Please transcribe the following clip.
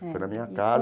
Foi na minha casa.